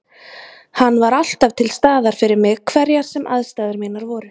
Hann var alltaf til staðar fyrir mig hverjar sem aðstæður mínar voru.